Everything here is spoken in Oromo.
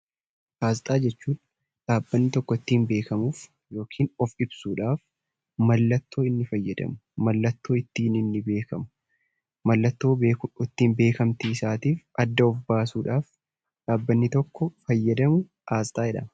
Asxaa jechuun dhaabbanni tokko ittiin beekamuuf yookiin of ibsuuf mallattoo inni fayyadamu, mallattoo ittiin inni beekamu , mallattoo beekamtii isaatii adda of baasuudhaaf dhaabbanni tokko kan fayyadamu asxaa jedhama.